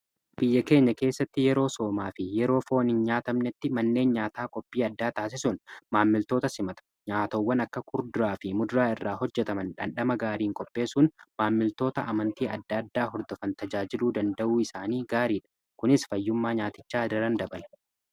biyya keenya keessatti yeroo soomaa fi yeroo foon hin nyaatamnetti manneen nyaataa qophii addaa taasisuun maammiltoota simatu nyaatawwan akka kurduraa fi muduraa irraa hojjetaman dhandhama gaariin qopheessuun maammiltoota amantii adda addaa hordofan tajaajiluu danda'uu isaanii gaariidha kunis fayyummaa nyaatichaa daran dabalee.